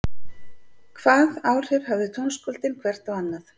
Hvað áhrif höfðu tónskáldin hvert á annað?